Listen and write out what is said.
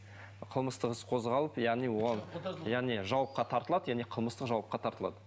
қылмыстық іс қозғалып яғни оған яғни жауапқа тартылады яғни қылмыстық жауапқа тартылады